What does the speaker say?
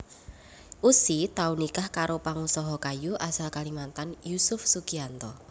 Ussy tau nikah karo pangusaha kayu asal Kalimantan Yusuf Sugianto